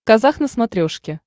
казах на смотрешке